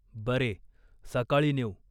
"बरे, सकाळी नेऊ.